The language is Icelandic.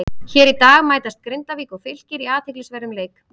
Hér í dag mætast Grindavík og Fylkir í athyglisverðum leik.